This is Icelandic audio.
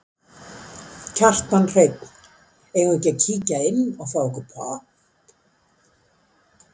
Kjartan Hreinn: Eigum við að kíkja inn og fá okkur popp?